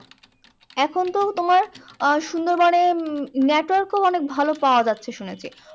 এখন তো তোমার আহ সুন্দরবনে উম network ও অনেক ভালো পাওয়া যাচ্ছে শুনেছি।